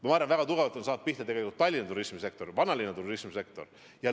Ma arvan, et väga tugevalt on saanud pihta Tallinna turismisektor, vanalinna turismisektor.